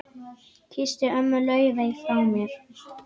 Kysstu ömmu Laufey frá mér.